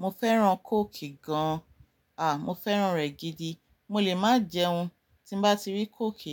Mo fẹ́ràn kóòkì gan an. À, mo fẹ́ràn rẹ̀ gidi. Mo lè má jẹun, tí n bá ti rí kóòkì